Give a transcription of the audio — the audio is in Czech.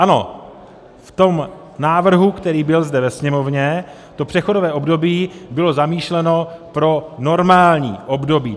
Ano, v tom návrhu, který byl zde ve Sněmovně, to přechodové období bylo zamýšleno pro normální období.